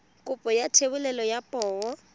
kopo ya thebolo ya poo